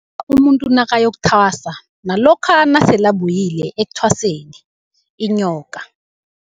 Umuntu nakayokuthwasa nalokha nasele abuyile ekuthwaseni, inyoka.